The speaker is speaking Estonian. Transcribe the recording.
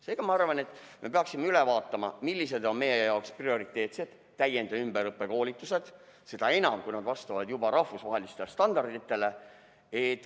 Seega, ma arvan, me peaksime üle vaatama, millised on meie jaoks prioriteetsed täiend‑ ja ümberõppekoolitused, seda enam, kui nad juba vastavad rahvusvahelistele standarditele.